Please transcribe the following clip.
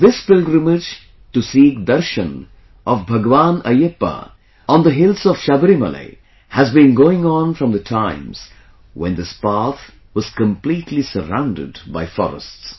This pilgrimage to seek Darshan of Bhagwan Ayyappa on the hills of Sabarimala has been going on from the times when this path was completely surrounded by forests